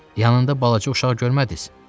Yanında balaca uşaq görmədiniz?